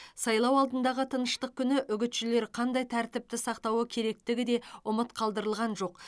сайлау алдындағы тыныштық күні үгітшілер қандай тәртіпті сақтауы керектігі де ұмыт қалдырылған жоқ